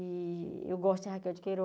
E eu gosto de Raquel de Queiroz.